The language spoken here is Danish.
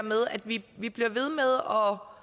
og